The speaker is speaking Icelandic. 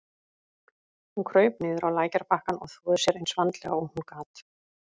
Hún kraup niður á lækjarbakkann og þvoði sér eins vandlega og hún gat.